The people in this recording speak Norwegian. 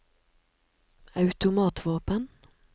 automatvåpen